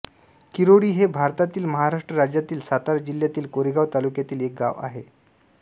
किरोळी हे भारतातील महाराष्ट्र राज्यातील सातारा जिल्ह्यातील कोरेगाव तालुक्यातील एक गाव आहे